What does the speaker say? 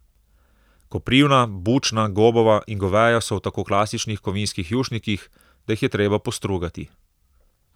Koprivna, bučna, gobova in goveja so v tako klasičnih kovinskih jušnikih, da jih je treba postrugati.